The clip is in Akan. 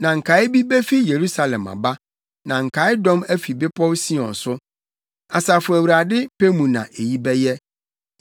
Na nkae bi befi Yerusalem aba, na nkae dɔm afi Bepɔw Sion so. Asafo Awurade pɛ mu na eyi bɛyɛ.